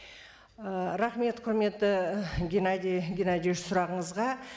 ііі рахмет құрметті геннадий геннадьевич сұрағыңызға